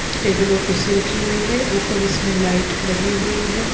Table और कुर्सी रखी हुई है ऊपर इसमें लाइट लगी हुई हैं।